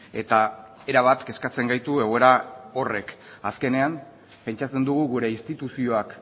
eta erabat kezkatzen gaitu egoera horrek azkenean pentsatzen dugu gure instituzioak